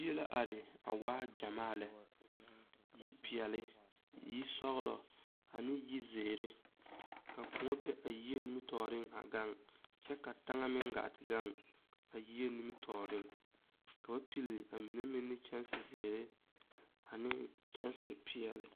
Yie la are a waa gyɛmaa lɛ yipeɛlle yisɔglɔ ane yizeere ka koɔ be a yie nimitɔɔreŋ a gaŋ kyɛ ka taŋa meŋ gaa te gaŋ a yie nimitɔɔreŋ ka ba pilli a mine meŋ kyɛnsi zeere ane kyɛnsi peɛlle